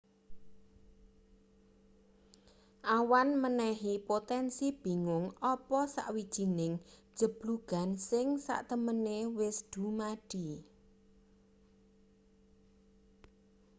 awan menehi potensi bingung apa sawijining jeblugan sing satemene wis dumadi